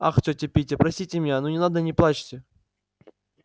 ах тётя питти простите меня ну не надо не плачьте